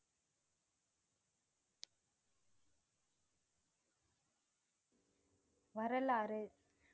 வரலாறு